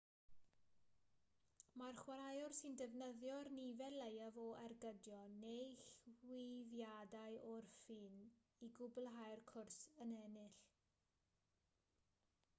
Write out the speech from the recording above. mae'r chwaraewr sy'n defnyddio'r nifer leiaf o ergydion neu chwifiadau o'r ffyn i gwblhau'r cwrs yn ennill